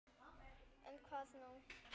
En hvað nú?